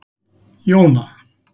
Jóna